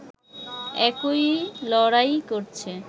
একই লড়াই করছে